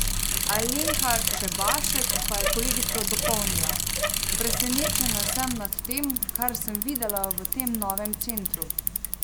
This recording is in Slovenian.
Alenka Čebašek pa je kolegico dopolnila: "Presenečena sem nad tem, kar sem videla v temu novemu centru.